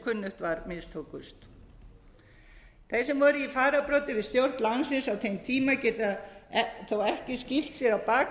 kunnugt var mistókust þeir sem voru í fararbroddi við stjórn landsins á þeim tíma geta þó ekki skýlt sér á bak við að